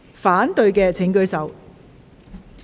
反對的請舉手。